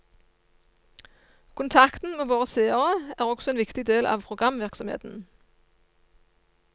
Kontakten med våre seere er også en viktig del av programvirksomheten.